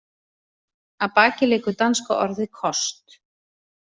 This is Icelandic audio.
Að baki liggur danska orðið kost.